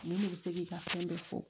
Mun de bɛ se k'i ka fɛn bɛɛ fɔ